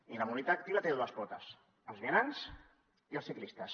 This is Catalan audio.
i la mobilitat activa té dues potes els vianants i els ciclistes